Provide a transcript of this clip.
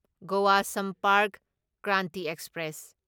Goa Sampark Kranti express